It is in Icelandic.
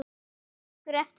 Man einhver eftir honum?